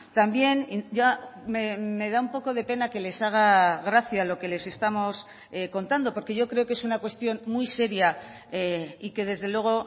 también me da un poco de pena que les haga gracia lo que les estamos contando porque yo creo que es una cuestión muy seria y que desde luego